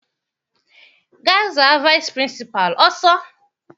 Gaa za vaịsị pịrịnsịpalụ ọsọ!